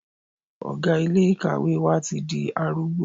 Ọ̀gá ilé ìkàwé wa ti di arúgbó.